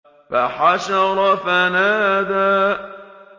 فَحَشَرَ فَنَادَىٰ